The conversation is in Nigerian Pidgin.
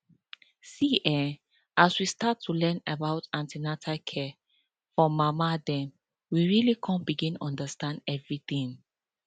see[um]as we start to learn about an ten atal care for mama dem we really come begin understand everything